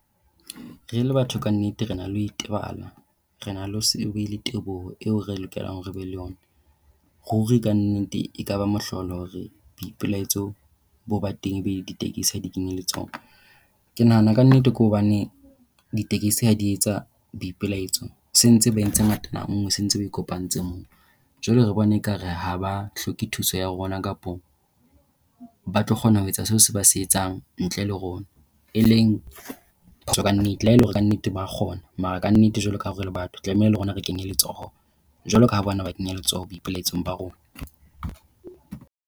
Re le batho ka nnete re na le ho itebala. Re na le ho se be le teboho eo re lokelang hore re be le yona. Ruri ka nnete ekaba mohlolo hore boipelaetso bo ba teng ebe ditekesi ha di kene le tsona. Ke nahana ka nnete ke hobane ditekesi ha di etsa boipelaetso se ntse ba entse ngatana nngwe, se ntse ba ikopantshe nngwe. Jwale re bone ekare ha ba hloke thuso ya rona kapa ba tlo kgona ho etsa seo se ba se etsang ntle le rona, e leng ka nnete haele hore kannete ba a kgona. Mara ka nnete jwalo ka ha re le batho tlamehile le rona re kenye letsoho jwalo ka ha ba ne ba kenya letsoho boipelaetsong ba rona.